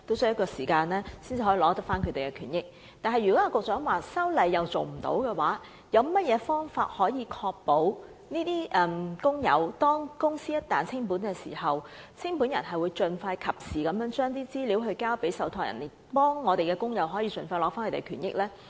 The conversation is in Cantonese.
不過，如果一如局長所說般無法修例，那麼當局有何方法確保清盤人在公司清盤時可盡快和及時把有關資料交予受託人，以便讓工友盡快取回權益呢？